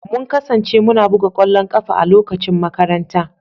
Mun kasance muna buga ƙwallon ƙafa a lokacin makaranta